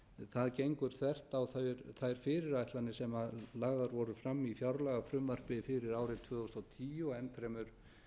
það gengur þvert á þær fyrirætlanir sem lagðar voru fram í fjárlagafrumvarpi fyrir árið tvö þúsund og tíu og enn fremur